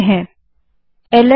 link बनाने के लिए ल्न कमांड है